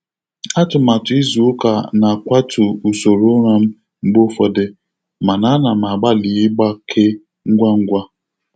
Atụmatụ izu ụka na-akwatu usoro ụra m mgbe ụfọdụ, mana a na m agbalị ịgbake ngwa ngwa.